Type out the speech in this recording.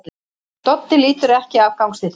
Doddi lítur ekki af gangstéttinni.